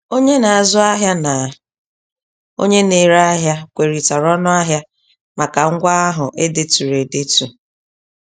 Onye na-azụ ahịa na onye na-ere ahịa kwerịtara ọnụahịa màkà ngwa ahụ e deturu edetu.